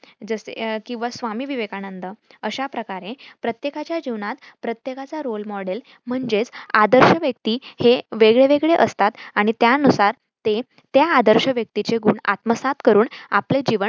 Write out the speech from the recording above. जसे किंव्हा स्वामी विवेकानंद अशा प्रकारे प्रत्येकाच्या जिवनात प्रत्येकाचा role model म्हणजेच आदर्श व्यक्ती हे वेगळेवेगळे असतात. आणि त्यानुसार ते त्या आदर्श व्यक्तीचे गुण आत्मसात करून आपले जीवन